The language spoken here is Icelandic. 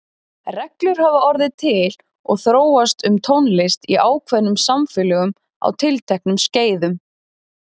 Reglur hafa orðið til og þróast um tónlist í ákveðnum samfélögum á tilteknum skeiðum.